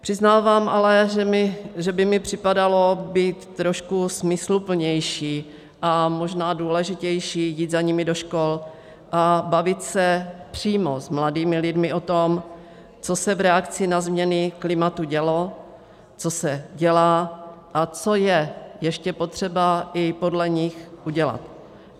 Přiznávám ale, že by mi připadalo být trošku smysluplnější a možná důležitější jít za nimi do škol a bavit se přímo s mladými lidmi o tom, co se v reakci na změny klimatu dělo, co se dělá a co je ještě potřeba i podle nich udělat.